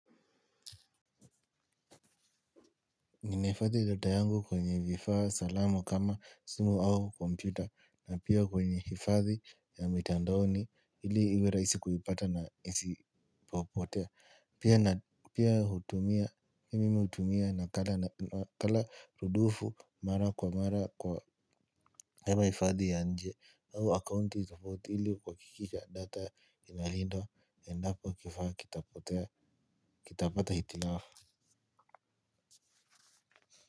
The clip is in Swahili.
Nina hifadhi data yangu kwenye vifaa salamu kama simu au kompyuta na pia kwenye hifadhi ya mitandaoni ili iwe rahisi kuipata na isipotea. Pia mimi hutumia nakala rudufu mara kwa mara kwa hewa hifadhi ya inje au akaunti ikipotea ili kuhakikisha data inalindwa endapo kifaa kitapotea kitapata hitilafu.